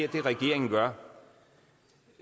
regeringen gør